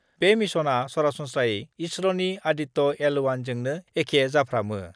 बे मिसनआ सरासन्स्रायै इसर'नि आदित्य एल-1 जोंनो एखे जाफ्रामो।